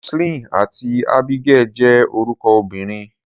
Roseline àti Abigail jẹ́ orúkọ obìnrin.